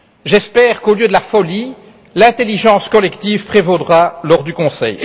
J'espère qu'au lieu de la folie, l'intelligence collective prévaudra lors du Conseil.